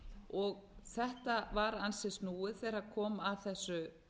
og þetta var ansi snúið þegar kom að þessu